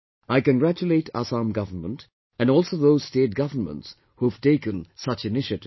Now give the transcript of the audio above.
I congratulate Assam Government and also all those state governments who have taken such initiatives